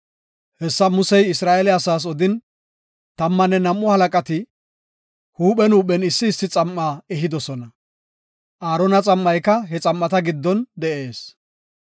Hessa Musey Isra7eele asaas odin, tammanne nam7u halaqati huuphen huuphen issi issi xam7a ehidosona. Aarona xam7ayka he xam7ata giddon de7ees.